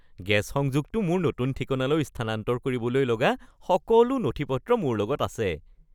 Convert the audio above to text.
gas সংযোগটো মোৰ নতুন ঠিকনালৈ স্থানান্তৰ কৰিবলৈ লগা সকলো নথি-পত্ৰ মোৰ লগত আছে